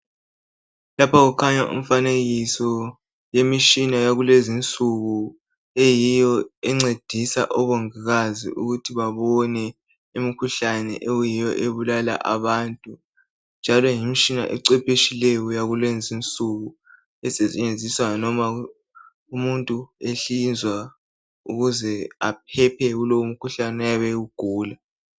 Lapha kukhanya umfanekiso yemishina yakulezinsuku eyiyo encedisa obongikazi ukuthi babone imkhuhlane okuyiyo ebulala abantu. Njalo yimitshina ecwephetshileyo yakulezinsuku esetshenziswa noma umuntu ehlinzwa ukuze aphephe kulowomkhuhlane oyabe ewugula.